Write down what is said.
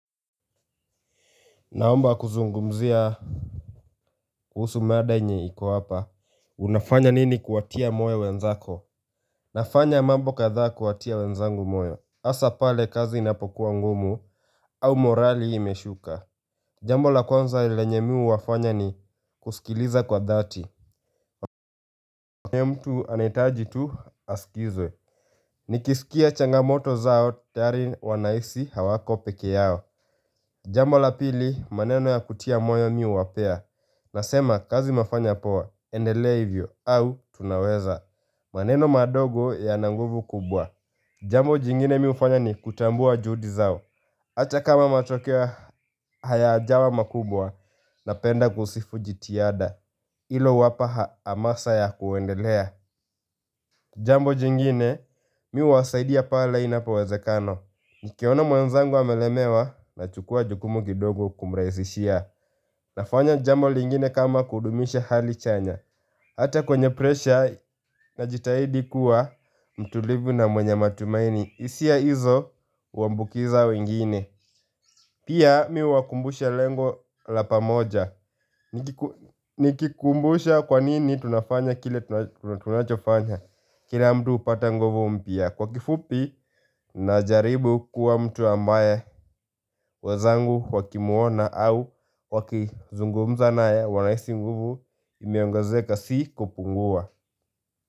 Naomba kuzungumzia kuhusu mada yenye iko hapa. Unafanya nini kuwatia moyo wenzako? Nafanya mambo kadhaa kuwatia wenzangu moyo Hasa pale kazi inapokuwa ngumu au morali imeshuka. Jambo la kwanza lenye mi huwafanya ni kusikiliza kwa dhati. Mtu anahitaji tu askizwe. Nikisikia changamoto zao tayari wanahisi hawako peke yao. Jambo la pili maneno ya kutia moyo wa mi huwapea. Nasema kazi umefanya poa, endelea ivyo au tunaweza maneno madogo yana nguvu kubwa Jambo jingine mi hufanya ni kutambua juhudi zao Hata kama matokeo hayajawa makubwa napenda kusifu jitihada ilowapa hamasa ya kuendelea Jambo jingine mi huu wasaidia pale inapo wezekana Nikiona mwenzangu amelemewa nachukua jukumu kidogo kumrahisishia Nafanya jambo lingine kama kudumisha hali chanya Hata kwenye presha na jitahidi kuwa mtulivu na mwenye matumaini hisia hizo uambukiza wengine Pia mi huwa kumbusha lengo la pamoja Nikikumbusha kwanini tunafanya kile tunachofanya Kila mtu hupata nguvu mpya Kwa kifupi na jaribu kuwa mtu ambaye wezangu wakimuona au wakizungumza naye wanahisi nguvu imeongezeka si kupungua.